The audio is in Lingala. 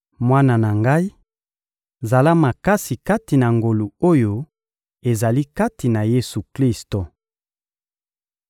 Mwana na ngai, zala makasi kati na ngolu oyo ezali kati na Yesu-Klisto.